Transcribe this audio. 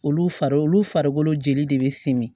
Olu fari olu farikolo jeli de bɛ simi